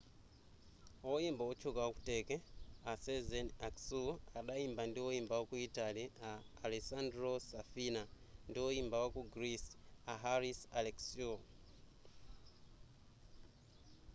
woyimba otchuka waku turkey a sezen aksu adayimba ndi woyimba wa ku italy a alessandro safina ndi woyimba waku greece a haris alexiou